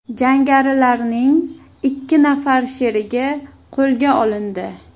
Jangarilarning ikki nafar sherigi qo‘lga olindi.